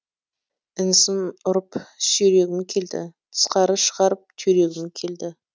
інісін ұрып сүйрегім келді тысқары шығарып түйрегім келді